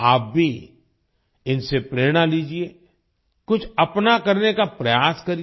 आप भी इनसे प्रेरणा लीजिये कुछ अपना करने का प्रयास करिए